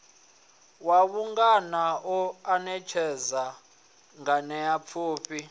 wa vhungana u anetshela nganeapfufhi